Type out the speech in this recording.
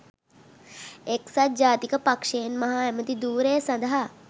එක්සත් ජාතික පක්ෂයෙන් මහ ඇමැති ධුරය සඳහා